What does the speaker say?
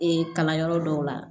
Ee kalanyɔrɔ dɔw la